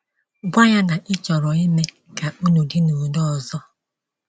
Gwa ya na ị chọrọ ime ka unu dị n’udo ọzọ.